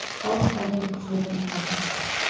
халық саны екі жүз елу мың адам